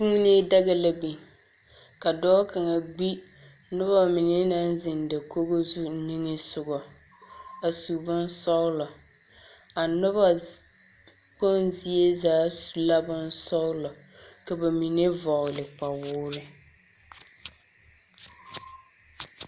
Kuunii daga la biŋ, ka dɔɔ kaŋa gbi noba mine naŋ zeŋ dakogo zuŋ niŋe soŋɔ a su bonsɔglɔ. A noba kpoŋ zie zaa su la bonsɔglɔ, ka ba mine vɔgele kpawoore.